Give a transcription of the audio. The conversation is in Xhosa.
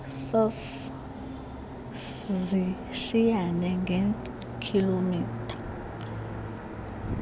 sos zishiyana ngeekhilomitha